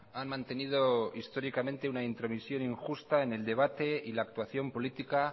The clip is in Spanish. han mantenido históricamente una intromisión injusta en el debate y la actuación política